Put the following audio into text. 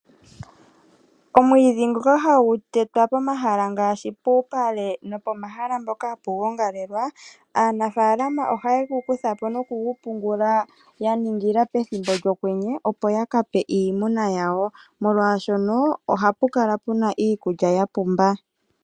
Omwiidhi ngoka hagu tetwa pomaha ngaashi ouupale no pomahala mpoka ha pu gongalelwa Aanafaalama oha ye gu kutha po, opo y